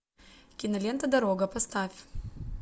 кинолента дорога поставь